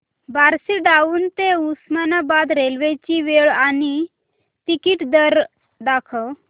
Barshi town ते Osmanabad railway ची वेळ आणि तिकीट दर दाखव